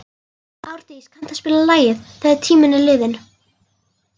Árdís, kanntu að spila lagið „Þegar tíminn er liðinn“?